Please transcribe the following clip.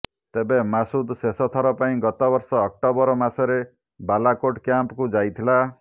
ତେବେ ମାସୁଦ ଶେଷଥର ପାଇଁ ଗତବର୍ଷ ଅକ୍ଟୋବର ମାସରେ ବାଲାକୋଟ୍ କ୍ୟାମ୍ପକୁ ଯାଇଥିଲା